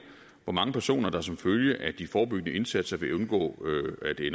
hvor mange personer der som følge af de forebyggende indsatser vil undgå